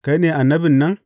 Kai ne Annabin nan?